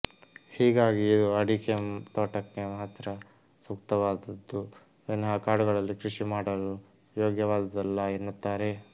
ಹೀಗಾಗಿ ಇದು ಅಡಿಕೆ ತೋಟಕ್ಕೆ ಮಾತ್ರ ಸೂಕ್ತವಾದದ್ದು ವಿನಹ ಕಾಡುಗಳಲ್ಲಿ ಕೃಷಿ ಮಾಡಲು ಯೋಗ್ಯವಾದುದಲ್ಲ ಎನ್ನುತ್ತಾರೆ